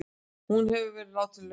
Hún hefur verið látin laus